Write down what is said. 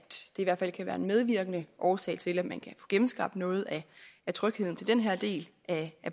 i hvert fald kan være en medvirkende årsag til at man kan få genskabt noget af trygheden til den her del af